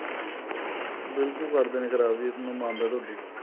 ਬਿਲਕੁਲ ਕਰਦੇ ਨੇ ਖਰਾਬ ਜੀ ਮੈਂ ਮੰਨਦਾ ਤੁਹਾਡੀ ਗੱਲ